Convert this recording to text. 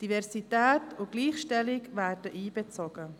Diversität und Gleichstellung werden einbezogen.